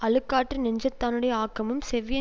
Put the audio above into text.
அழுக்காற்று நெஞ்சத்தானுடைய ஆக்கமும் செவ்விய